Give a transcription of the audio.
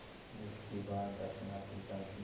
जिस के बाद दक्षिण अफ्रीका की